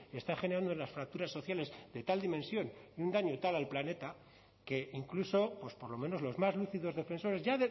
está generando en las fracturas sociales de tal dimensión un daño tal al planeta que incluso pues por lo menos los más lúcidos defensores ya